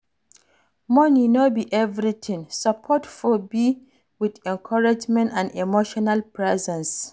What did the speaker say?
Money no be everything, support for be with encouragement and emotional presence